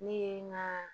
Ne ye n ka